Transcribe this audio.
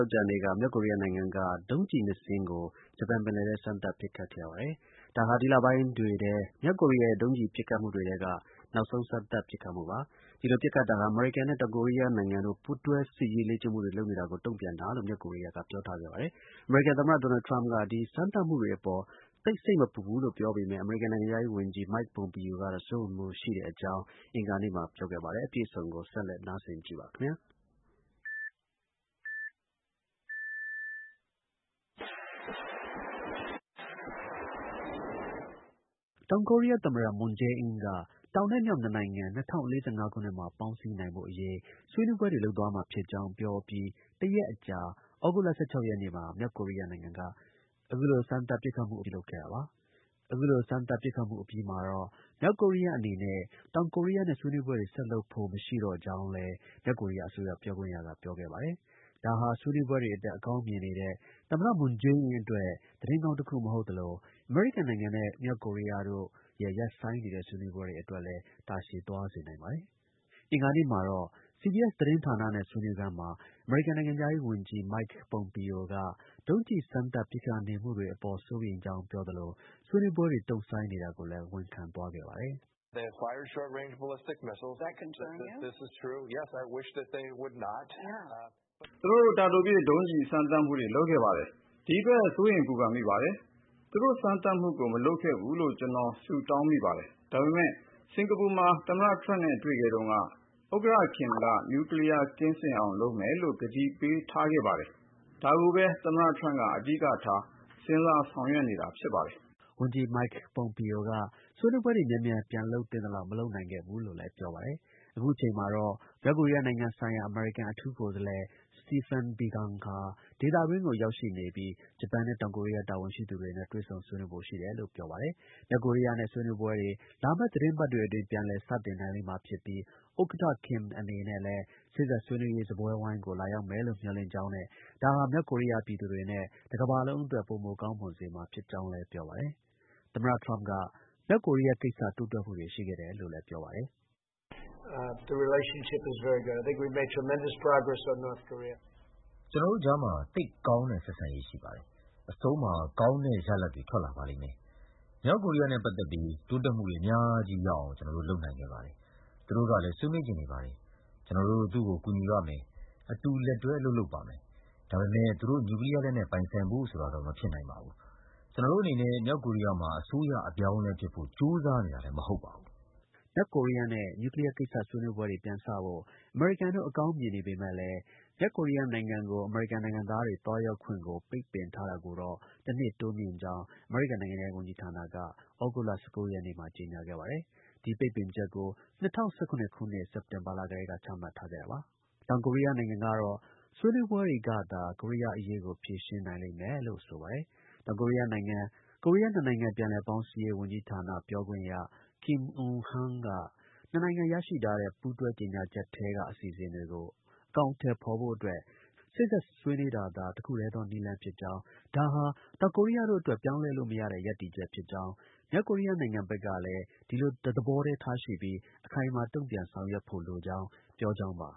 ောကြာနေ့က မြောက်ကိုရီးယားနိုင်ငံက ဒုံးကျည် နှစ်စင်းကို ဂျပန် ပင်လယ်ထဲ စမ်းသပ်ပစ်ခတ်ခဲ့ပါတယ်။ ဒါဟာ ဒီလပိုင်းတွေထဲ မြောက်ကိုရီးယားရဲ့ ဒုံးကျည် ပစ်ခတ်မှုတွေထဲက နောက်ဆုံး စမ်းသပ်ပစ်ခတ်မှုပါ။ ဒီလို ပစ်ခတ်တာဟာ အမေရိကန်နဲ့ တောင်ကိုရီးယားနိုင်ငံတို့ ပူးတွဲ စစ်ရေး လေ့ကျင့်မှုတွေ လုပ်နေတာကို တုံ့ပြန်တာလို့ မြောက်ကိုရီးယားက ပြောထားခဲ့ပါတယ်။ အမေရိကန် သမ္မတ ဒေါ်နယ်ထရမ့်က ဒီ စမ်းသပ်မှုတွေအပေါ် သိပ် စိတ်မပူဘူးလို့ ပြောပေမဲ့ အမေရိကန် နိုင်ငံခြားရေးဝန်ကြီး Mike Pompeo ကတော့ စိုးရိမ်မှုရှိတဲ့အကြောင်း အင်္ဂါနေ့မှာ ပြောခဲ့ပါတယ်။ အပြည့်အစုံကို ကိုရဲမင်းထွန်းက တင်ဆက်ထားပါတယ်။ တောင်ကိုရီးယား သမ္မတ မွန်ဂျေးအင်းက တောင်နဲ့ မြောက် နှစ်နိုင်ငံ ၂၀၄၅ ခုနှစ် ပေါင်းစည်းနိုင်ဖို့အရေး ဆွေးနွေးပွဲတွေ လုပ်သွားမှာ ဖြစ်ကြောင်း ပြောအပြီး တစ်ရက်အကြာ သြဂုတ်လ ရက်နေ့မှာ မြောက်ကိုရီးယားနိုင်ငံက အခုလို ဒုံးကျည် စမ်းသပ် ဖောက်ခွဲမှှု ပြုလုပ်ခဲ့တာပါ။ အခုလို စမ်းသပ် ပစ်ခတ်မှု အပြီးမှာတော့ မြောက်ကိုရီးယား အနေနဲ့ တောင်ကိုရီးယားနဲ့ ဆွေးနွေးပွဲတွေ ဆက်လုပ်ဖို့ မရှိကြောင်းလည်း မြောက်ကိုရီးယား အစိုးရ ပြောခွင့်ရက ပြောခဲ့ပါတယ်။ ဒါဟာ ဆွေးနွေးပွဲတွေအတွက် အကောင်းမြင်နေတဲ့ သမ္မတ မွန်ဂျေးအင်းအတွက် သတင်းကောင်းတစ်ခု မဟုတ်သလို အမေရိကန်နိုင်ငံနဲ့ လုပ်မယ့် မြောက်ကိုရီးယားရဲ့ ဆွေးနွေးပွဲ အတွက်လည်း အလှမ်းဝေးစေ နိုင်ပါတယ်။ အင်္ဂါနေ့မှာတော့ CBS သတင်းဌာနဲ့ ဆွေးနွေးခန်းမှာ အမေရိကန်နိုင်ငံခြားရေးဝန်ကြီး Mike Pompeo က ဒုံးကျည် စမ်းသပ်ပစ်ခတ် နေမှုတွေအပေါ် စိုးရိမ်ကြောင်း ပြောသလို ဆွေးနွေးပွဲတွေ တုံ့ဆိုင်း နေတာကိုလည်း ဝန်ခံသွားခဲ့ပါတယ်။ “သူတို့ တာတိုပစ် ဒုံးကျည်စမ်းသပ်မှုတွေ လုပ်ခဲ့ပါတယ်။ ဒီအတွက် စိုးရမ်ပူပန်မိပါတယ်။ သူတို့ စမ်းသပ်မှုတွေ မလုပ်ခဲ့ဖူးလို့ ကျွန်တော် ဆုတောင်း မိပါတယ်။ ဒါပေမဲ့ စင်္ကာပူမှာ သမ္မတထရမ့်နဲ့ တွေ့ခဲ့တုန်းက ဥက္ကဌ ကမ်က နျူကလီးယား ကင်းစင်အောင် လုပ်မယ်လို့ ကတိပေးထားခဲ့ပါတယ်။ ဒါကိုပဲ သမ္မတ ထရမ့်က အဓိကထား စဉ်းစား ဆောင်ရွက်နေတာ ဖြစ်ပါတယ်။” ဝန်ကြီး Mike Pompeo က ဆွေးနွေးပွဲတွေ မြန်မြန် ပြန်လုပ်သင့်သလောက် မလုပ်နို်င်ခဲ့ဘူးလို့လည်း ပြောပါတယ်။ အခုအချိန်မှာတော့ မြောက်ကိုရီးယားနိုင်ငံ ဆိုင်ရာ အမေရိကန် အထူးကိုယ်စားလှယ် Spephen Biegun ဟာ ဒေသတွင်းကို ရောက်ရှိနေပြီး ဂျပန်နဲ့ တောင်ကိုရီးယား တာဝန်ရှိသူတွေနဲ့ တွေ့ဆုံဆွေးနွေးဖို့ ရှိတယ်လို့ ပြောပါတယ်။ မြောက်ကိုရီးယားနဲ့ ဆွေးနွေးပွဲတွေ လာမယ့် သီတင်းပတ်တွေအတွင်း ပြန်လည် စတင်နိုင်လိမ့်မှာဖြစ်ပြီး ဥက္ကဌ Kim အနေနဲ့လည်း စေ့စပ်ဆွေးနွေးရေး စားပွဲဝိုင်းကို လာရောက်မယ်လို့ မျှော်လင့်ကြောင်းနဲ့ ဒါဟာ မြောက်ကိုရီးယား ပြည်သူတွေနဲ့ တစ်ကမ္ဘာလုံးအတွက် ပိုမိုကောင်းမွန်စေမှာဖြစ်ကြောင်းလည်း ပြောပါတယ်။ သမ္မတ ထရမ့်က မြောက်ကိုရီးယားကိစ္စ တိုးတက်မှုတွေ ရှိခဲ့တယ်လို့ ပြောပါတယ်။ “ကျွန်တော်တို့ကြား သိပ် ကောင်းတဲ့ ဆက်ဆံရေး ရှိပါတယ်။ အဆုံးမှာ ကောင်းတဲ့ရလဒ်တွေ ထွက်လာပါလိမ့်မယ်။ မြောက်ကိုရီးယားနဲ့ ပတ်သက်ပြီး တိုးတက်မှုတွေ အများကြီး ရအောင် ကျွန်တော်တို့ လုပ်နိုင်ခဲ့ပါတယ်။ သူတို့ကလည်း ဆွေးနွေးချင်နေပါတယ်။ ကျွန်တော်တို့ သူ့ကို ကူညီပါ့မယ်။ အတူ လက်တွဲ အလုပ်လုပ်ပါမယ်။ ဒါပေမဲ့ သူတို့ နျူးကလီးယား လက်နက်တော့ မပိုင်ဆိုင်နိုင်ပါဘူး။ ကျွန်တော်တို့အနေနဲ့ မြောက်ကိုရီးယားမှာ အစိုးရ အပြောင်းအလဲ ဖြစ်ဖို့ ကြိုးစားနေတာလည်း မဟုတ်ပါဘူး။” မြောက်ကိုရီးယား နျူးကလီးယားကိစ္စ ဆွေးနွေးပွဲတွေ ပြန်စဖို့ အမေရိကန်တို့ အကောင်းမြင်နေပေမဲ့ မြောက်ကိုရီးယားနိုင်ငံကို အမေရိကန် နိုင်ငံသားတွေ သွားရောက်ခွင့်ကို ပိတ်ပင်ထားတာကို တစ်နှစ် တိုးမြှင့်ကြောင်း အမေရိကန် နိုင်ငံခြားရေး ဝန်ကြီးဌာနက သြဂုတ်လ ၁၉ ရက်နေ့မှာ ကြေညာခဲ့ပါတယ်။ ဒီပိတ်ပင်ချက်ကို ၂၀၁၇ ခုနှစ် စက်တင်ဘာလ ကတည်းက ချမှတ်ထားခဲ့တာပါ။ တောင်ကိုရီးယားနိုင်ငံကတော့ ဆွေးနွေးပွဲတွေကသာ ကိုရီးယားအရေးကို ဖြေရှင်းနိုင်လိမ့်မယ်လို့ ဆိုပါတယ်။ တောင်ကိုရီးယားနိုင်ငံ၊ ကိုရီးယားနှစ်နိုင်ငံ ပြန်လည်ပေါင်းစည်းရေး ဝန်ကြီးဌာန ပြောခွင့်ရ Kim Eunhan က နှစ်နိုင်ငံ ရရှိထားတဲ့ ပူးတွဲကြေညာချက်ထဲက အစီအစဉ်တွေကို အကောင်အထည်ဖော်ဖို့အတွက် စေ့စပ် ဆွေးနွေးတာသာ တစ်ခုတည်းသော နည်းလမ်းဖြစ်ကြောင်း၊ ဒါဟာ တောင်ကိုရီးယားတို့အတွက် ပြောင်းလဲလို့ မရတဲ့ ရပ်တည်ချက်ဖြစ်ကြောင်း၊ မြောက်ကိုရီးယားနိုင်ငံဘက်ကလည်း ဒီလို တစ်သဘောတည်း ရှိပြီး အခိုင်အမာ တုံ့ပြန် ဆောင်ရွက်ဖို့ လိုကြောင်း ပြောကြောင်းပါ